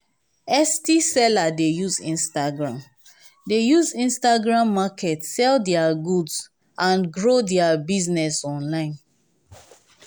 etsy seller dey use instagram dey use instagram market sell dia goods and grow dia business online.